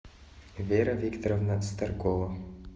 вера викторовна старкова